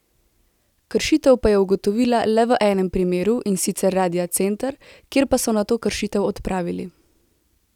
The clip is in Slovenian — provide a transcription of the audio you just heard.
Kršitev pa je ugotovila le v enem primeru, in sicer Radia Center, kjer pa so nato kršitev odpravili.